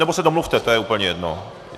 Nebo se domluvte, to je úplně jedno.